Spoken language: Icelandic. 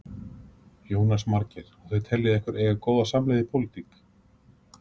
Jónas Margeir: Og þið teljið ykkur eiga góða samleið í pólitík?